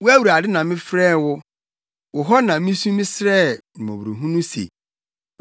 Wo, Awurade na mefrɛɛ wo; wo hɔ na misu mesrɛɛ mmɔborɔhunu se: